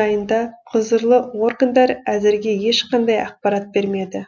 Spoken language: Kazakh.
жайында құзырлы органдар әзірге ешқандай ақпарат бермеді